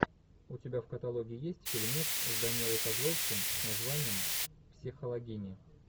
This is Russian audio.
у тебя в каталоге есть фильмец с данилой козловским с названием психологини